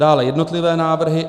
Dále jednotlivé návrhy.